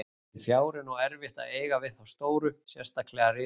En fjári er nú erfitt að eiga við þá stóru, sérstaklega risann.